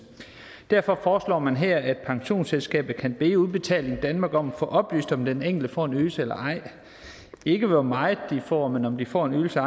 derfor foreslår man her at pensionsselskabet kan bede udbetaling danmark om at få oplyst om den enkelte får en ydelse eller ej ikke hvor meget de får men om de får en ydelse